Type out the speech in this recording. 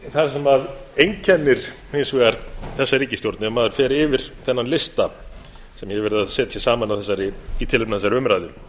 það sem einkennir hins vegar þessa ríkisstjórn ef maður fer yfir þennan lista sem ég hef verið að setja saman í tilefni af þessari umræðu